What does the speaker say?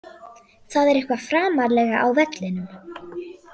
Það er eitthvað framarlega á vellinum.